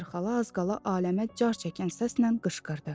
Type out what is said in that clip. Ester xala az qala aləmə car çəkən səslə qışqırdı.